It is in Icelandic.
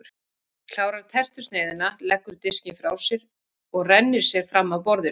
Klárar tertusneiðina, leggur diskinn frá sér og rennir sér fram af borðinu.